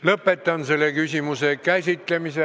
Lõpetan selle küsimuse käsitlemise.